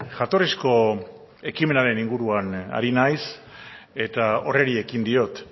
jatorrizko ekimenaren inguruan ari naiz eta horri ekin diot